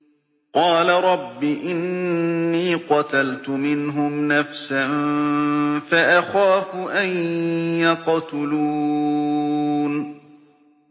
قَالَ رَبِّ إِنِّي قَتَلْتُ مِنْهُمْ نَفْسًا فَأَخَافُ أَن يَقْتُلُونِ